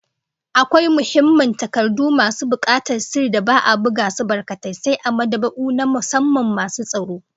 Akwai muhimman takardu masu bukatar sirri da tsaro da ba'a buga su barkatai, sai a mad'aba'u na musamman masu tsaro